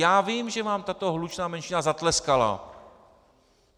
Já vím, že vám tato hlučná menšina zatleskala.